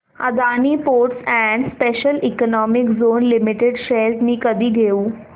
Adani ports and special economic zone limited shares मी कधी घेऊ